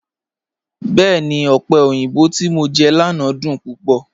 Bẹẹ̀ni, ọpẹ̀ oyinbọ̀ ti mọ̀ jẹ lánà dún púpọ̀.